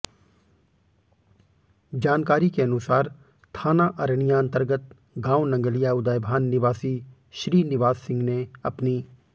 जानकारी के अनुसार थाना अरनियां अन्तर्गत गांव नंगलिया उदयभान निवासी श्रीनिवास सिह ने अपनी